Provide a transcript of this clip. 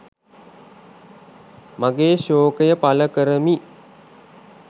මගේ ශෝකය පළ කරමි